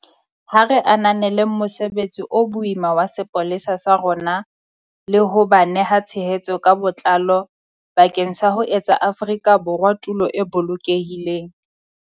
Ha re ananeleng mosebetsi o boima wa sepolesa sa rona le ho ba neha tshehetso ka botlalo bakeng sa ho etsa Afrika Borwa tulo e bolokehileng.